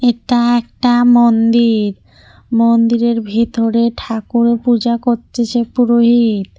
এটা একটা মন্দির মন্দিরের ভিতরে ঠাকুর পূজা করতেছে পুরোহিত।